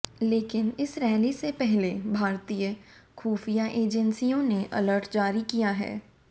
लेकिन इस रैली से पहले भारतीय ख़ुफ़िया एजेंसियों ने अलर्ट जारी किया है